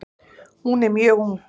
Hún er mjög ung.